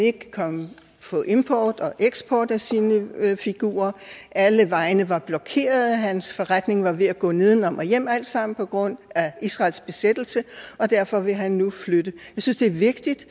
få import og eksport af sine figurer alle vejene var blokeret og hans forretning var ved at gå nedenom og hjem alt sammen på grund af israels besættelse og derfor vil han nu flytte jeg synes det er vigtigt